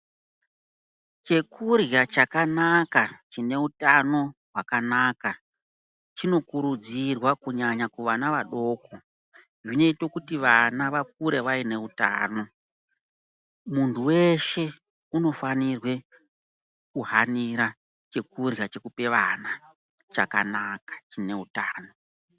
Chekurya chakanaka chine utano hwakanaka chinokurudzirwa kunyanya kuvana vadoko. Zvinoite kuti vana vakure vaine utano, muntu veshe unofanirwe kuhanira chekurya chekupe ana chakanaka chine hutano.